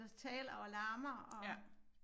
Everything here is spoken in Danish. Der taler og larmer og